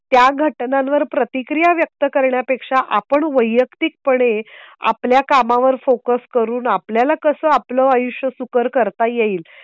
त्या घटनांवर प्रतिक्रिया व्यक्तकरण्या पेक्षा आपण वैयक्तिक पणे आपल्या कामावर फोकस करून आपल्याला कसं आपलं आयुष्य सुकर करता येईल.